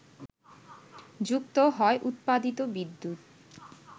যুক্ত হয় উৎপাদিত বিদ্যুৎ